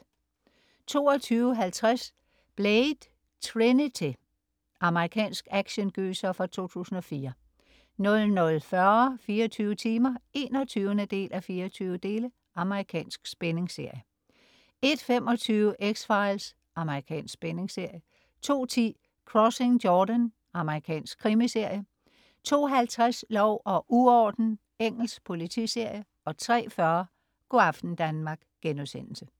22.50 Blade: Trinity. Amerikansk actiongyser fra 2004 00.40 24 timer 21:24. Amerikansk spændingsserie 01.25 X-Files. Amerikansk spændingsserie 02.10 Crossing Jordan. Amerikansk krimiserie 02.50 Lov og uorden. Engelsk politiserie 03.40 Go' aften Danmark*